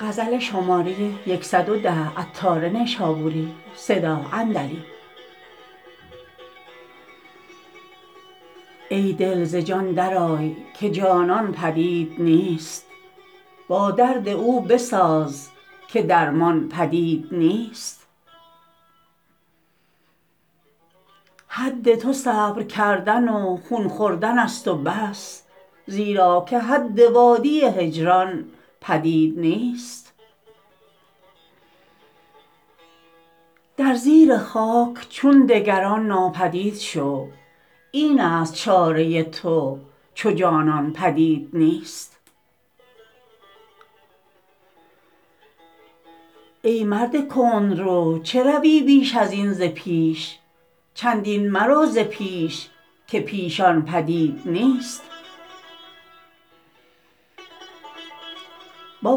ای دل ز جان در آی که جانان پدید نیست با درد او بساز که درمان پدید نیست حد تو صبرکردن و خون خوردن است و بس زیرا که حد وادی هجران پدید نیست در زیر خاک چون دگران ناپدید شو این است چاره تو چو جانان پدید نیست ای مرد کندرو چه روی بیش ازین ز پیش چندین مرو ز پیش که پیشان پدید نیست با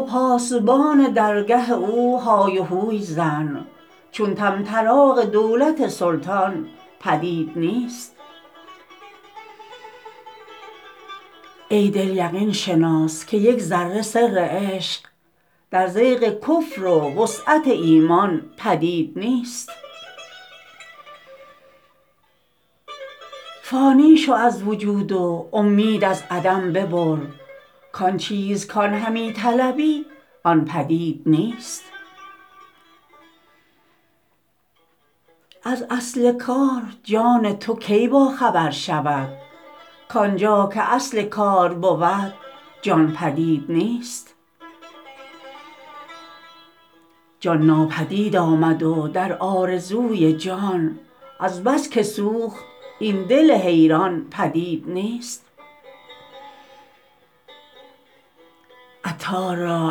پاسبان درگه او های و هوی زن چون طمطراق دولت سلطان پدید نیست ای دل یقین شناس که یک ذره سر عشق در ضیق کفر و وسعت ایمان پدید نیست فانی شو از وجود و امید از عدم ببر کان چیز کان همی طلبی آن پدید نیست از اصل کار جان تو کی با خبر شود کانجا که اصل کار بود جان پدید نیست جان ناپدید آمد و در آرزوی جان از بس که سوخت این دل حیران پدید نیست عطار را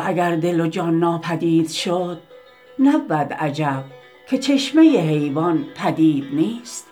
اگر دل و جان ناپدید شد نبود عجب که چشمه حیوان پدید نیست